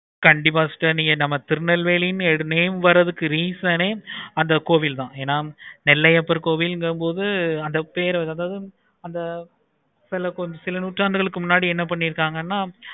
கண்டிப்பா sister நம்ம Tirunelveli name வாரத்துக்கு reason ஏ அந்த கோவில் தான் என நெல்லையப்பர் கோவில் இங்க போது அந்த பெரு அதாவது அத சில நூறாண்டுகளுக்கு முன்னாடி என்ன பண்ணிருக்காங்கன்னு